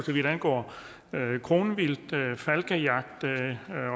så vidt angår kronvildt falkejagt